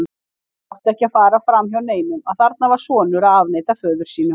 Það átti ekki að fara framhjá neinum að þarna var sonur að afneita föður sínum.